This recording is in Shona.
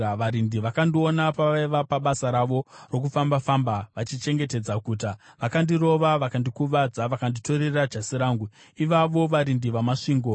Varindi vakandiona pavaiva pabasa ravo rokufamba-famba vachichengetedza guta. Vakandirova, vakandikuvadza; vakanditorera jasi rangu, ivavo varindi vamasvingo!